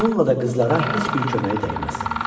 Bununla da qızlara heç bir köməyi dəyməz.